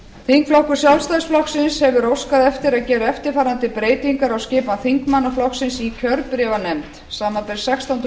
þingflokkur sjálfstæðisflokksins hefur óskað eftir að gera eftirfarandi breytingar á skipan þingmanna flokksins í kjörbréfanefnd samanber sextándu